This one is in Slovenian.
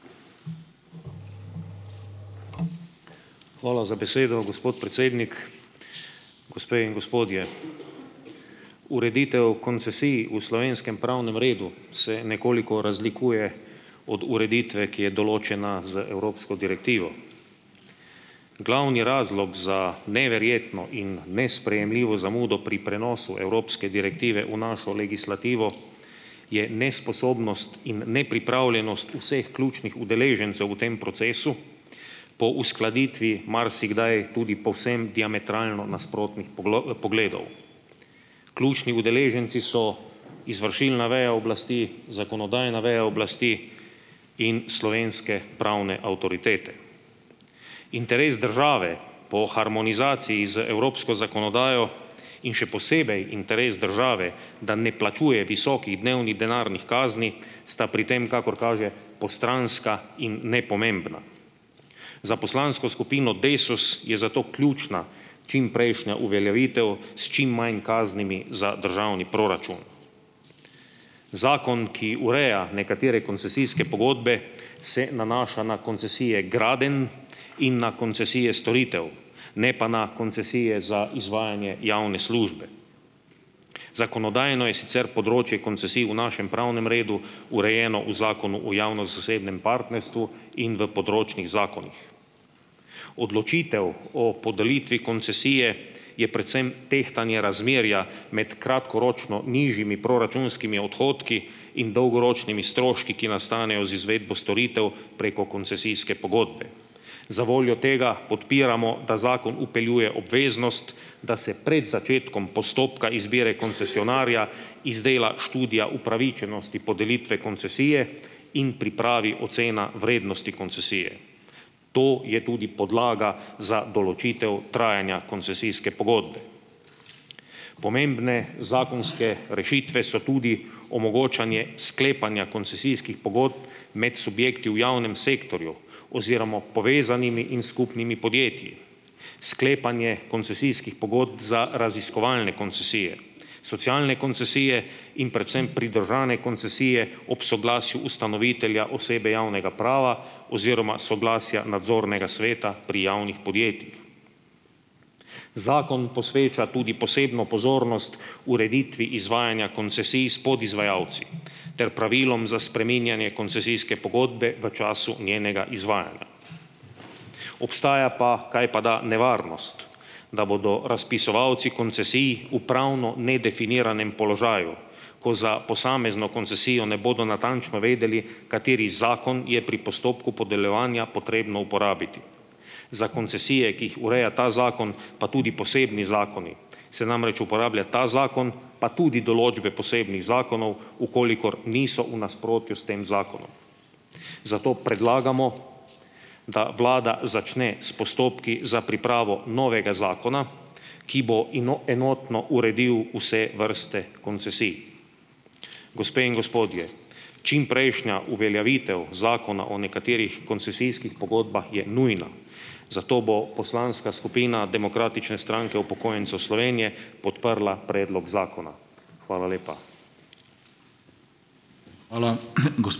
Hvala za besedo, gospod predsednik. Gospe in gospodje! Ureditev koncesij v slovenskem pravnem redu se nekoliko razlikuje od ureditve, ki je določena z evropsko direktivo. Glavni razlog za neverjetno in nesprejemljivo zamudo pri prenosu evropske direktive v našo legislativo je nesposobnost in nepripravljenost vseh ključnih udeležencev v tem procesu po uskladitvi marsikdaj tudi povsem diametralnih nasprotnih pogledov. Ključni udeleženci so izvršilna veja oblasti, zakonodajna veja oblasti in slovenske pravne avtoritete. Interes države po harmonizaciji z evropsko zakonodajo in še posebej interes države, da ne plačuje visokih dnevni denarnih kazni, sta pri tem, kakor kaže, postranska in nepomembna. Za poslansko skupino Desus je zato ključna čimprejšnja uveljavitev s čim manj kaznimi za državni proračun. Zakon, ki ureja nekatere koncesijske pogodbe, se nanaša na koncesije gradenj in na koncesije storitev, ne pa na koncesije za izvajanje javne službe. Zakonodajno je sicer področje koncesij v našem pravnem redu urejeno v Zakonu o javno-zasebnem partnerstvu in v področnih zakonih. Odločitev o podelitvi koncesije je predvsem tehtanje razmerja med kratkoročno nižjimi proračunskimi odhodki in dolgoročnimi stroški, ki nastanejo z izvedbo storitev preko koncesijske pogodbe. Zavoljo tega podpiramo, da zakon vpeljuje obveznost, da se pred začetkom postopka izbire koncesionarja izdela študija upravičenosti podelitve koncesije in pripravi ocena vrednosti koncesije. To je tudi podlaga za določitev trajanja koncesijske pogodbe. Pomembne zakonske rešitve so tudi omogočanje sklepanja koncesijskih pogodb med subjekti v javnem sektorju oziroma povezanimi in skupnimi podjetji. Sklepanje koncesijskih pogodb za raziskovalne koncesije, socialne koncesije in predvsem pridržane koncesije ob soglasju ustanovitelja osebe javnega prava oziroma soglasja nadzornega sveta pri javnih podjetjih. Zakon posveča tudi posebno pozornost ureditvi izvajanja koncesij s podizvajalci ter pravilom za spreminjanje koncesijske pogodbe v času njenega izvajanja. Obstaja pa, kajpada, nevarnost, da bodo razpisovalci koncesij v pravno nedefiniranem položaju, ko za posamezno koncesijo ne bodo natančno vedeli, kateri zakon je pri postopku podeljevanja potrebno uporabiti. Za koncesije, ki jih ureja ta zakon, pa tudi posebni zakoni, se namreč uporablja ta zakon pa tudi določbe posebnih zakonov, v kolikor niso v nasprotju s tem zakonom. Zato predlagamo, da vlada začne s postopki za pripravo novega zakona, ki bo enotno uredil vse vrste koncesij. Gospe in gospodje! Čimprejšnja uveljavitev Zakona o nekaterih koncesijskih pogodbah je nujna, zato bo poslanska skupina Demokratične stranke upokojencev Slovenije podprla predlog zakona. Hvala lepa.